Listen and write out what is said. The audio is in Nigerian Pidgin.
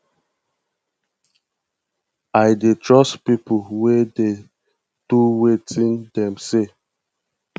i dey trust pipo wey dey do wetin dem say